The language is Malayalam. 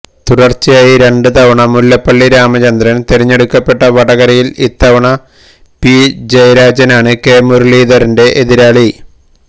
തുടര്ച്ചയായി രണ്ട് തവണ മുല്ലപ്പള്ളി രാമചന്ദ്രന് തെരഞ്ഞെടുക്കപ്പെട്ട വടകരയില് ഇത്തവണ പി ജയരാജന് ആണ് കെ മുരളീധരന്റെ എതിരാളി